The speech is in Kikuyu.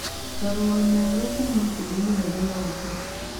Marũa merũ kuuma kũrĩ mũnene waku